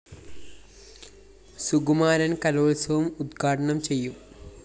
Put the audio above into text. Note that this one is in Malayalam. സുകുമാരന്‍ കലോത്സവം ഉദ്ഘാടനം ചെയ്യും